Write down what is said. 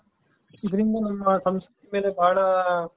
ಇದರಿಂದ ನಮ್ಮ ಸಂಸ್ಕೃತಿಯ ಮೇಲೆ ಬಹಳ